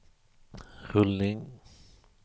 rullning